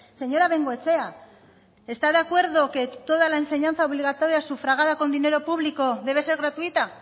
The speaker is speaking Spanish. señora bengoechea está de acuerdo que toda la enseñanza obligatoria sufragada con dinero público debe ser gratuita